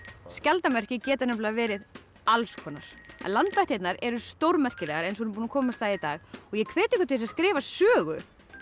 skjaldarmerki getur verið alls konar landvættirnar eru stórmerkilegar eins og við erum búin að komast að í dag og ég hvet ykkur til þess að skrifa sögu